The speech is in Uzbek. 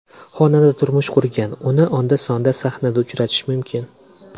Xonanda turmush qurgan, uni onda-sonda sahnada uchratish mumkin.